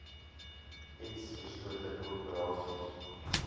s beslote korporasies